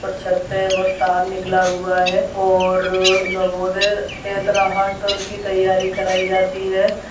और छत है वो तार निकला हुआ है और नवोदय के तरह हर तरह की तैयारी कराइ जाती है।